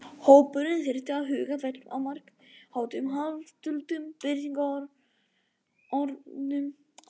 Hópurinn þyrfti að huga vel að margháttuðum hálfduldum birtingarformum þessarar orku.